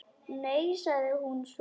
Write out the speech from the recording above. Nei, sagði hún svo.